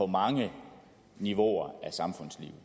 mange niveauer af samfundslivet